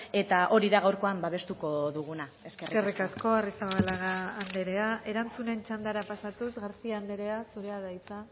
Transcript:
eta hori gaurkoan babestuko duguna eskerrik asko eskerrik asko arrizabalaga anderea erantzunen txandara pasatuz garcía anderea zurea da hitza